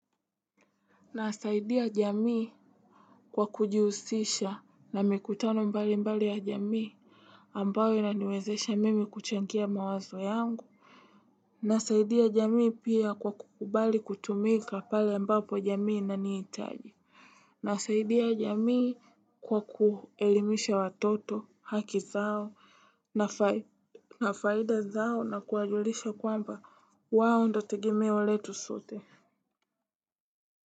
Nasaidia jamii kwa kujiusisha na mikutano mbali mbali ya jamii ambao inaniwezesha mimi kuchangia mawazo yangu. Nasaidia jamii pia kwa kukubali kutumika pale ambapo jamii inaniitaji. Nasaidia jamii kwa kuelimisha watoto haki zao na faida zao na kuajulisha kwamba wao ndote gemeo letu sote.